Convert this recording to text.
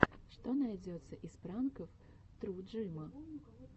что найдется из пранков тру джима